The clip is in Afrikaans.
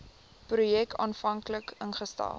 projek aanvanklik ingestel